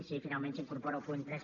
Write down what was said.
si finalment s’incorpora el punt tres